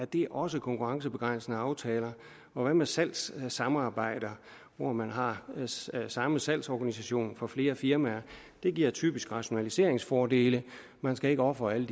det også konkurrencebegrænsende aftaler og hvad med salgssamarbejder hvor man har samme salgsorganisation for flere firmaer det giver typisk rationaliseringsfordele man skal ikke ofre alle